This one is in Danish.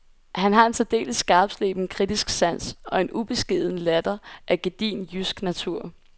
Han har en særdeles skarpsleben kritisk sans og en ubeskeden latter af gedigen jysk natur.